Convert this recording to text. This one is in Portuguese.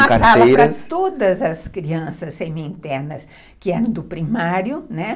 Era uma sala para todas as crianças semi-internas que eram do primário, né?